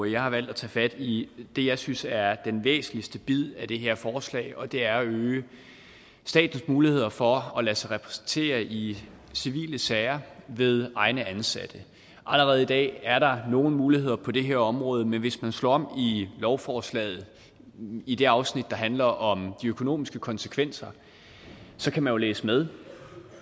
jeg har valgt at tage fat i det jeg synes er den væsentligste bid af det her forslag og det er jo at øge statens muligheder for at lade sig repræsentere i civile sager ved egne ansatte allerede i dag er der nogle muligheder på det her område men hvis man slår op i lovforslaget i det afsnit der handler om de økonomiske konsekvenser så kan man jo læse med